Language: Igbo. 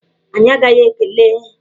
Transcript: Anyị agaghị ekele!